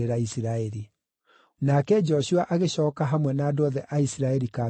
Nake Joshua agĩcooka hamwe na andũ othe a Isiraeli kambĩ-inĩ kũu Giligali.